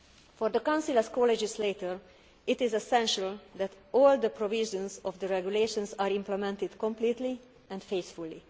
For the Council, as co legislator, it is essential that all the provisions of the regulations are implemented completely and faithfully.